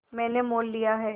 मैंने मोल लिया है